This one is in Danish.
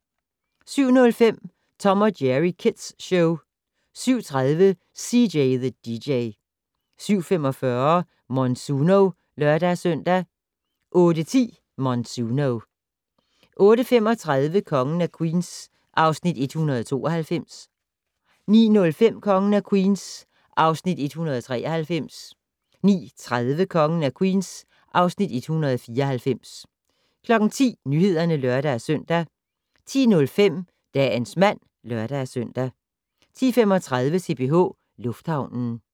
07:05: Tom & Jerry Kids Show 07:30: CJ the DJ 07:45: Monsuno (lør-søn) 08:10: Monsuno 08:35: Kongen af Queens (Afs. 192) 09:05: Kongen af Queens (Afs. 193) 09:30: Kongen af Queens (Afs. 194) 10:00: Nyhederne (lør-søn) 10:05: Dagens mand (lør-søn) 10:35: CPH Lufthavnen